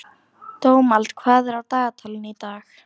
Dómald, hvað er á dagatalinu í dag?